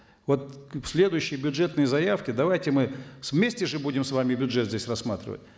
вот к следующей бюджетной заявке давайте мы вместе же будем с вами бюджет здесь рассматривать